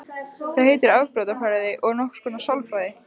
Það heitir afbrotafræði og er nokkurs konar sálfræði.